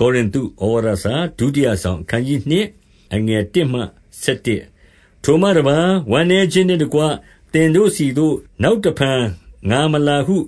ကောရိန္သု​ဩဝါသစာ​ဒုတိယစောင်။ အခနျး 2 အခနျး ၂ ထိုမှတပါး၊ ဝမ်းနည်းခြင်းနှင့်တကွ သင်တို့ဆီသို့ နောက်တဖန် ငါလာမည်ဟု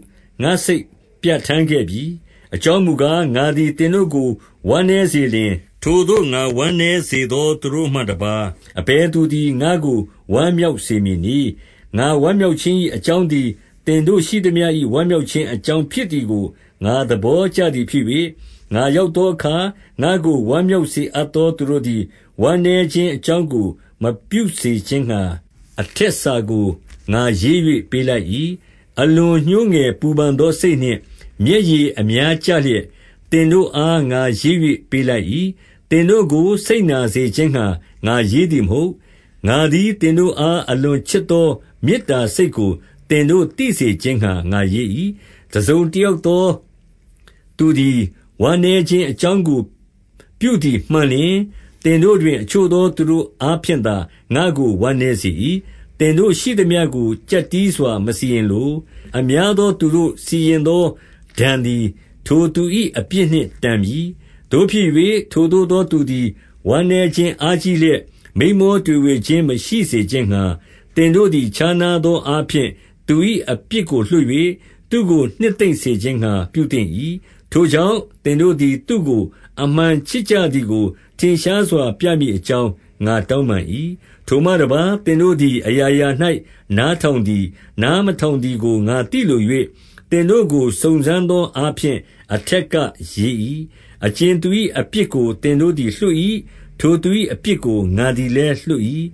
ငါစိတ်ပြဋ္ဌာန်းခဲ့ပြီ။ 2 အကြောင်းမှုကား၊ ငါသည်သင်တို့ကို ဝမ်းနည်းစေလျှင်၊ ထိုသို့ဝမ်းနည်းစေသောသူကိုမှတပါး အဘယ်သူ သည် ငါ့ကိုဝမ်းမြောက်စေမည်နည်း။ 3 ငါဝမ်းမြောက်ခြင်း၏ အကြောင်းသည် သင်တို့ ရှိသမျှ၏ ဝမ်းမြောက်ခြင်းအကြောင်းဖြစ်သည်ကို ငါသဘောကျသည်ဖြစ်၍၊ ငါရောက်သောအခါ ငါ့ကို ဝမ်းမြောက်စေအပ်သောသူတို့သည် ဝမ်းနည်းခြင်း အကြောင်းကို မပြုစေခြင်းငှါ၊ အထက်စာကို ငါရေး၍ ပေးလိုက်၏။ 4 အလွန်ညှိုးငယ်ပူပန်သောစိတ်နှင့် မျက်ရည် အများကျလျက်၊ သင်တို့အား ငါရေး၍ပေးလိုက်၏။ သင်တို့ကိုစိတ်နာစေခြင်းငှါ ငါရေးသည်မဟုတ်။ ငါသည် သင်တို့အား အလွန်ချစ်သောမေတ္တာစိတ်ကို သင်တို့ သိစေခြင်းငှါ ငါရေး၏။ 5 တစုံတယောက်သောသူသည် ဝမ်းနည်းခြင်းအကြောင်းကို ပြုသည်မှန်လျှင်၊ သင်တို့တွင် အချို့သော သူတို့အားဖြင့်သာ ငါ့ကို ဝမ်းနည်းစေ၏။ သင်တို့ရှိသမျှကို ကျပ်တည်းစွာမစီရင်လို။ 6 အများသောသူတို့စီရင်သော ဒဏ်သည်ထိုသူ၏ အပြစ်နှင့် တန်ပြီ။ 7 သို့ဖြစ်၍ ထိုသို့သောသူသည် ဝမ်းနည်းခြင်း အားကြီးလျက်၊ မိန်းမောတွေဝေခြင်း မရှိစေခြင်းငှါ၊ သင်တို့သည်ခြားနားသော အားဖြင့် သူ၏အပြစ်ကို လွှတ်၍ သူ့ကိုနှစ်သိမ့်စေခြင်းငှါ ပြုသင့်၏။ 8 ထိုကြောင့်သင်တို့သည် သူ့ကိုအမှန်ချစ်ကြသည်ကို ထင်ရှားစွာပြမည်အကြောင်း ငါတောင်းပန်၏။ 9 ထိုမှတပါး၊ သင်သည်အရာရာ၌ နားထောင်သည်၊ နားမထောင်သည်ကို ငါသိလို၍၊ သင်တို့ကို စုံစမ်းသောအားဖြင့် အထက်က ရေး၏။ 10 အကြင်သူ၏အပြစ်ကို သင်တို့သည် လွှတ်၏၊ ထိုသူ၏အပြစ်ကို ငါသည်လည်းလွှတ်၏၊၊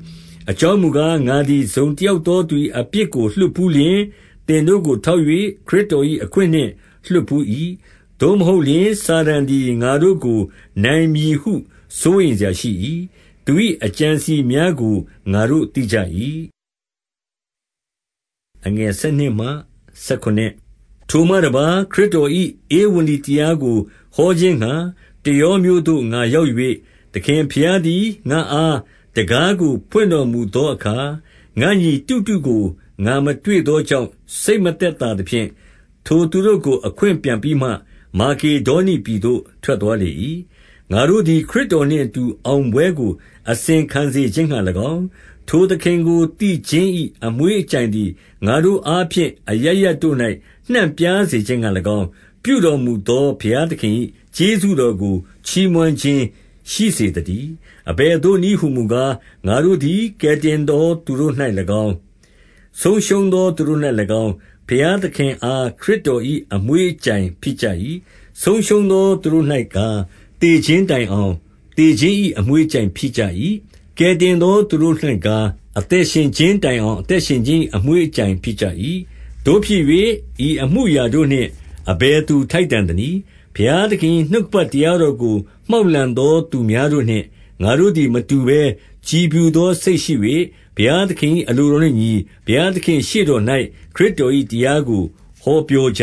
အကြောင်းမူ ကား၊ ငါသည်တစုံတယောက်သောသူ၏ အပြစ်ကို လွှတ်ဘူးလျှင်၊ သင်တို့ကိုထောက်၍ ခရစ်တော်၏ အခွင့်နှင့် လွှတ်ဘူး၏။ 11 သို့မဟုတ်လျှင်၊ စာတန်သည် ငါတို့ကိုနိုင်မည်ဟု စိုးရိမ်စရာရှိ၏။ သူ၏အကြံအစည်များကို ငါတို့သိကြ၏။ 12 ထိုမှတပါး၊ ခရစ်တော်၏ ဧဝံဂေလိတရားကို ဟောခြင်းငှါ တရောမြို့သို့ ငါရောက်၍၊ သခင်ဘုရား သည် ငါ့အားတံခါးကို ဖွင့်တော်မူသောအခါ၊ 13 ငါ့ညီတိတုကို ငါမတွေ့သောကြောင့် စိတ်မသက်သာသဖြင့်၊ ထိုသူတို့ကိုအခွင့်ပန်ပြီးမှ မာကေဒေါနိပြည်သို့ ထွက်သွားလေ၏။ 14 ငါတို့သည် ခရစ်တော်နှင့်အတူ အောင်ပွဲကို အစဉ်ခံစေခြင်းငှါ၎င်း၊ ထိုသခင်ကို သိခြင်း၏ အမွှေး အကြိုင်သည် ငါတို့အားဖြင့် အရပ်ရပ်တို့၌ နှံ့ပြားစေခြင်းငှါ၎င်း၊ ပြုတော်မူသောဘုရားသခင်၏ ကျေးဇူးတော်ကို ချီးမွမ်းခြင်းရှိစေသတည်း။ 15 အဘယ်သို့နည်းဟူမူကား၊ ငါတို့သည် ကယ်တင်သောသူတို့၌၎င်း၊ ဆုံးရှုံးသောသူတို့၌၎င်း၊ ဘုရားသခင်အား ခရစ်တော်၏ အမွှေးအကြိုင်ဖြစ်ကြ၏။ 16 ဆုံးရှုံးသောသူတို့၌ကား၊ သေခြင်းတိုင်အောင် သေခြင်း၏အမွှေးအကြိုင်ဖြစ်ကြ၏။ ကယ်တင်သော သူတို့၌ကား၊ အသက်ရှင်ခြင်းတိုင်အောင် အသက်ရှင်ခြင်း၏အမွှေးအကြိုင်ဖြစ်ကြ၏။ သို့ဖြစ်၍ ဤအမှုအရာ တို့နှင့် အဘယ်သူထိုက်တန်သနည်း။ 17 ဘုရားသခင်၏ နှုတ်ကပတ်တရားတော်ကို မှောက်လှန်သောသူများတို့နှင့် ငါတို့သည်မတူဘဲ ကြည်ဖြူသောစိတ်ရှိ၍ ဘုရားသခင်၏ အလိုတော်နှင့် အညီ၊ ဘုရားသခင်ရှေ့တော်၌ ခရစ်တော်၏တရားကို ဟောပြောကြ